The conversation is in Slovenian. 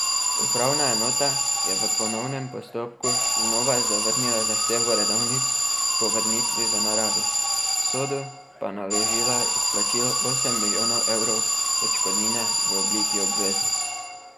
Upravna enota je v ponovnem postopku znova zavrnila zahtevo redovnic po vrnitvi v naravi, Sodu pa naložila izplačilo osem milijonov evrov odškodnine v obliki obveznic.